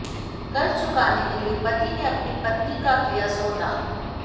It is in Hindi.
कर्ज चुकाने के लिए पति ने अपनी पत्नी का किया सौदा